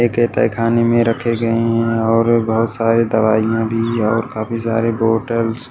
ये तेहखाने मैं रखे गए हैं और बहोत सारे दवाईयां भी और काफी सारे बॉटल्स --